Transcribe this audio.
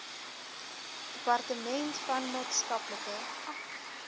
departement van maatskaplike